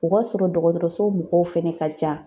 O ka sɔrɔ dɔgɔtɔrɔso mɔgɔw fɛnɛ ka ca.